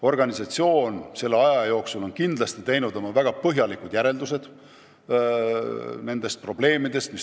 Organisatsioon on selle aja jooksul teinud väga põhjapanevad järeldused tolleaegsetest probleemidest.